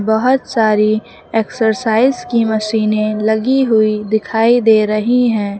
बहुत सारी एक्सरसाइज की मशीनें लगी हुई दिखाई दे रही है।